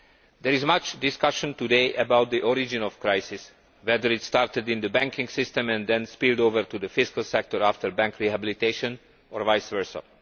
There is much discussion today about the origins of the crisis, whether it started in the banking system and then spilled over to the fiscal sector after bank rehabilitation, or vice versa.